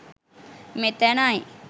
මෙතැනයි.